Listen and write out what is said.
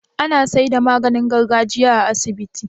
Ana seda maganin gargajiya a asibitin